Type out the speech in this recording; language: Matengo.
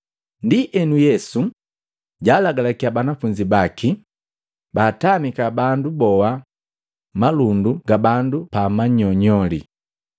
Ndienu Yesu jalagalakya banafunzi baki, baatamika bandu boa malundu ga bandu pamanyonyoli.